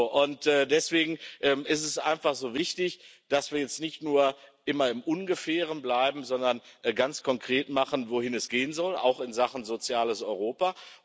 Und deswegen ist es einfach so wichtig, dass wir jetzt nicht nur immer im Ungefähren bleiben, sondern ganz konkret machen, wohin es gehen soll, auch in Sachen soziales Europa.